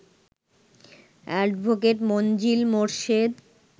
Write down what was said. advocate Manzill Morshed